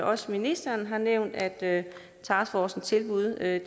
også ministeren har nævnt at taskforcetilbud er